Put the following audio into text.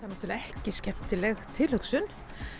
náttúrulega ekki skemmtileg tilhugsun